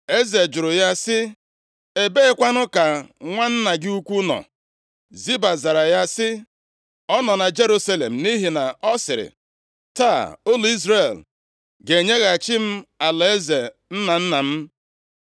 Eze jụrụ ya sị, “Ebeekwanụ ka nwa nna gị ukwu nọ?” Ziba zara ya sị, “Ọ nọ na Jerusalem nʼihi na ọ sịrị, ‘Taa ụlọ Izrel ga-enyeghachi m alaeze nna nna m.’ ”